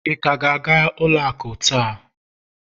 ị ka ga-aga ụlọ akụ taa?